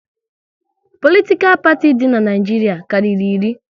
Politikal parti di n'Naijiria karịrị iri